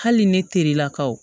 Hali ni ne terilakaw